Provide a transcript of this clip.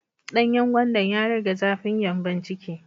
Danyen gwandan ya rage zafin gyanbon ciki.